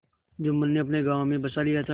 जुम्मन ने अपने गाँव में बसा लिया था